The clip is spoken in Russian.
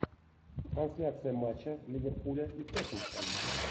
трансляция матча ливерпуля и тоттенхэм